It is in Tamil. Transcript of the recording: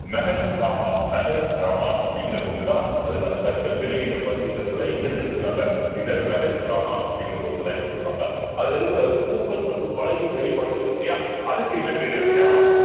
இந்த அப்படிங்கிற பகுதியிலதான் அதற்கான கற்கள் வெள்ளை நிற பளிங்கு கற்களை எங்க இருந்து எடுத்திருக்காங்க இந்த அப்படிங்கற பகுதியிலதான் எடுத்திருப்பாங்க அதுல இருக்கிற பூக்கள் மற்றும் வளைவு வேலைப்பாடுகள் இருக்கு இல்லையா அதுக்கு என்ன பேரு அப்படின்னா